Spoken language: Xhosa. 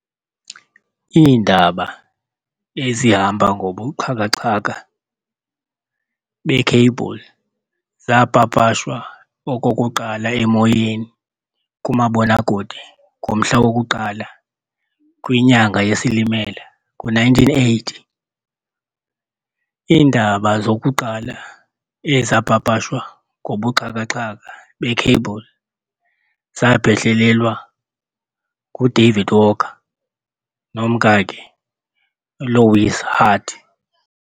Iindaba ezihamba ngobuxhakaxhaka bee-Cable zaapapashwa okokuqala emoyeni kumabonakude ngomhla woku-1 kwinyanga yesSilimela ngo-1980. Iindaba zokuqala ezaapapashwa ngobuxhakaxhaka be-Cable zaphehlelelwa ngu-David Walker nomkakhe uLois Hart.